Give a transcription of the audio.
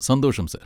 സന്തോഷം, സർ.